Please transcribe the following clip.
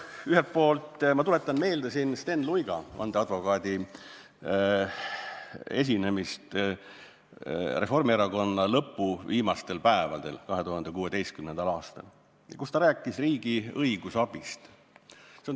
Ühelt poolt ma tuletan meelde siin Sten Luiga, vandeadvokaadi esinemist Reformierakonna lõpu viimastel päevadel 2016. aastal, kus ta rääkis riigi õigusabist.